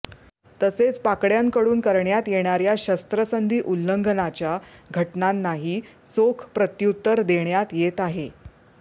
तसेच पाकड्यांकडून करण्यात येणाऱ्या शस्त्रसंधी उल्लंघनाच्या घटनांनाही चोख प्रत्युत्तर देण्यात येत आहे